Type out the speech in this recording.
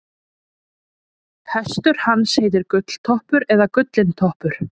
hestur hans heitir gulltoppur eða gullintoppur